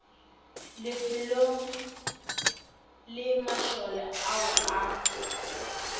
lifelong le mašole ao a